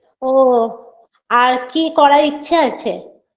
ও আর কি করার ইচ্ছে আছে